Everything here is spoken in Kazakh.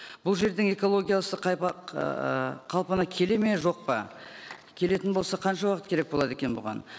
бұл жердің экологиясы қалпына келеді ме жоқ па келетін болса қанша уақыт керек болады екен бұған